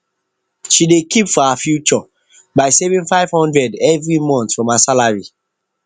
she de keep for her future by saving 500 every month from her salary